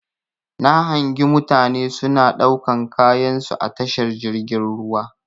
Na hangi mutane suna ɗaukan kayansu a tashar jirgin ruwa.